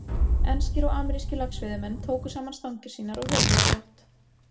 Enskir og amerískir laxveiðimenn tóku saman stangir sínar og hurfu á brott.